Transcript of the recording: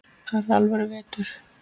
Þar er alvöru vetur.